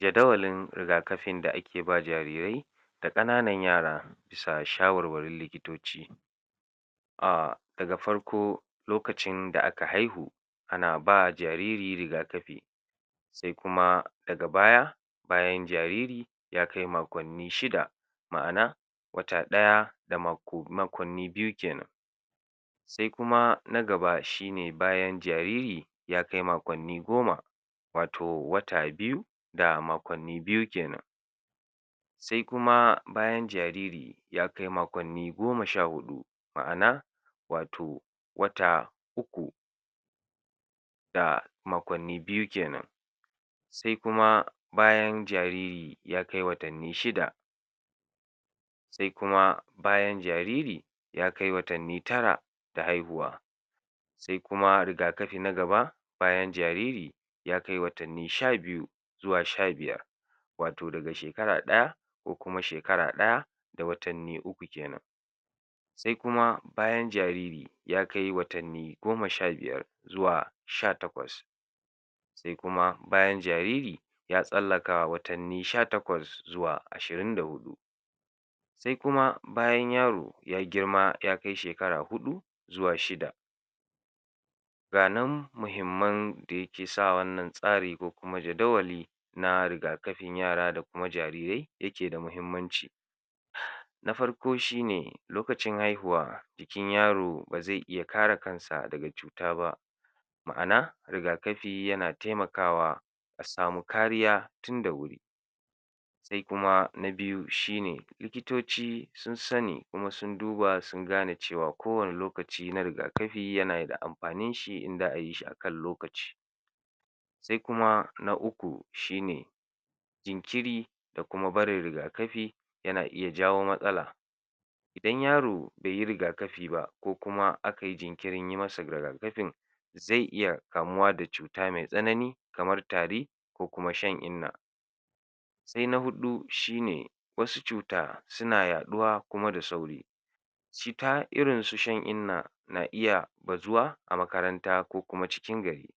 Jadawalin riga-kafin da ake ba jarirai da ƙananan yara bisa shawarwarin likitoci Daga farko lokacin da aka haihu ana ba jariri riga-kafi Sai kuma daga baya bayan jariri ya kai makonni shida, ma'ana wata ɗaya da makonni biyu ke nan. Sai kuma na gaba shi ne bayan jariri ya kai makonni goma wato wata biyu da makonni biyu ke nan. Sai kuma bayan jariri ya kai makonni goma sha huɗu, ma'ana wato wata uku da makonni biyu ke nan. Sai kuma bayan jariri ya kai watanni shida. Sai kuma bayan jariri ya kai watanni tara da haihuwa. Sai kuma riga-kafi na gaba, bayan jariri ya kai watanni sha biyu zuwa sha biyar, wato daga shekara ɗaya ko kuma shekara ɗaya da watanni uku ke nan. Sai kuma bayan jariri ya kai watanni goma sha biyar zuwa sha takwas Sai kuma bayan jariri ya tsallaka watanni sha takwas zuwa ashirin da huɗu. Sai kuma bayan yaro ya girma ya kai shekara huɗu zuwa shida. Ga nan muhimman da yake sa wannan tsari ko kuma jaddawali na riga-kafin yara ko kuma jarirai yake da muhimmanci Na farko shi ne lokacin haihuwa jikin yaro ba zai iya kare kansa daga cuta ba, ma'ana riga-kafi yana taimakawa a samu kariya tun da wuri. Sai kuma na biyu shi ne, likitoci sun sani kuma sun duba cewa kowane lokaci na riga-kafi yana da amfanin shi in za a yi shi a kan lokaci. Sai kuma na uku shi ne jinkiri da kuma barin riga-kafi yana iya jawo matsala. In yaro bai yi riga-kafi ba ko kuma aka yi jinkirin yi masa riga-kafin zai iya kamuwa da cuta mai tsanani kamar tari ko kuma shan inna. Sai na huɗu shi ne, wasu cuta suna yaɗuwa kuma da sauri Cuta irin su shan inna na iya bazuwa a makaranta ko kuma cikin gari.